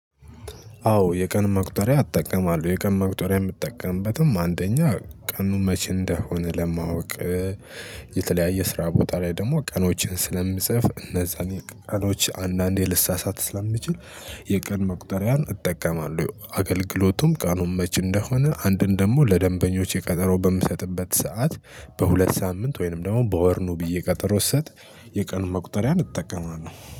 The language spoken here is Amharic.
አዎ የቀኑን መቁጠሪያ እትጠቀማለሁ የቀኑን መቁጠሪያ የምትጠቀምበትም አንደኛ ቀኑን መቼ እንደሆነ ለማወቅ። የተለያየ ስራ ቦታ ላይ ደግሞ ቀኖችን ስለምጽፍ እነዛን የቀኖች አንዳንዴ ልሳሳት ስለምችል። የቀን መቁጠሪያን እጠቀማለሁ አገልግሎቱም ቀኑን መች እንደሆነ አንድን ደግሞ ለደንበኞቼ ቀጠሮ በምሰጥበት ሰዓት በሁለት ሳምንት ወይንም ደግሞ በወርኑ ኑ ብዬ ቀጠሮ ስሰት። የቀኑ መቁጠሪያ እጠቀማለሁ።